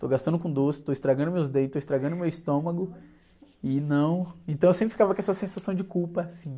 Estou gastando com doce, estou estragando meus dentes, estou estragando meu estômago e não... Então eu sempre ficava com essa sensação de culpa, assim.